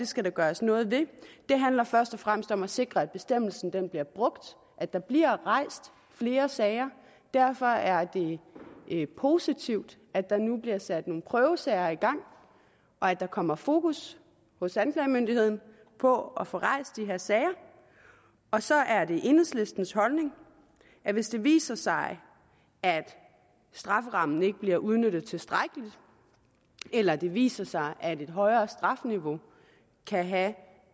skal der gøres noget ved det handler først og fremmest om at sikre at bestemmelsen bliver brugt at der bliver rejst flere sager derfor er det positivt at der nu bliver sat nogle prøvesager i gang og at der kommer fokus hos anklagemyndigheden på at få rejst de her sager og så er det enhedslistens holdning at hvis det viser sig at strafferammen ikke bliver udnyttet tilstrækkeligt eller det viser sig at et højere strafniveau kan have